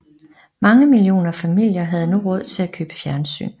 Mange millioner familier havde nu råd til at købe fjernsyn